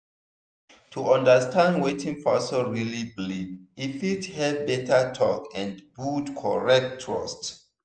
to understand wetin person really believe e fit help better talk and build correct trust.